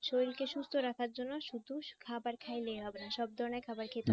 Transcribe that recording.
শরীরকে সুস্থ রাখার জন্য শুধু খাবার খাইলেই হবে না সব ধরনের খাবার খেতে হবে